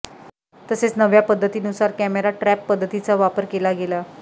तसेच नव्या पध्दतीनुसार कॅमेरा ट्रप पध्दतीचा वापर केला गेला